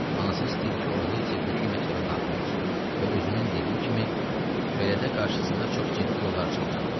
Anası istəyirdi ki, oğlu texniki məktəbə daxil olsun və özünün dediyi kimi, belə də qarşısında çox ciddi yollar açılacaqdı.